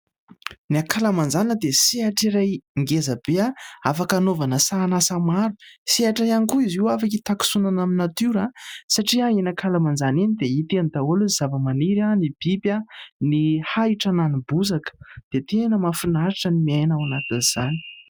Ny ankalamanjana dia sehatr'iray ngezabe afaka hanaovana sahan'asa maro. Sehatra ihany koa izy io afaka hitakosonana amin'ny natiora satria eny ankalamanjana eny dia hita eny daholo ny zava-maniry : ny biby, ny ahitra na ny bozaka. Dia tena mahafinaritra ny miaina ao anatin'izany.